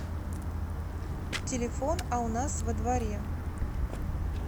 телефон а у нас во дворе